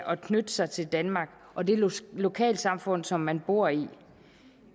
at knytte sig til danmark og det lokalsamfund som man bor i